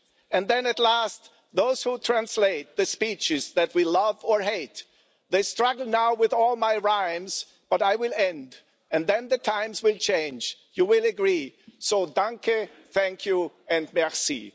And then at last, those who translate the speeches that we love or hate, they struggle now with all my rhymes, but I will end and then the times will change, you will agree, so danke thank you and merci